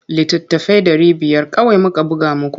Littattafai ɗari biyar kawai muka buga muku.